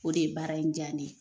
O de ye baara in diya ne ye